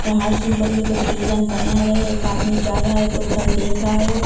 और heart symbol में कुछ डिजाइन बनाया गया है एक आदमी जा रहा है तो उधर देख रहा है।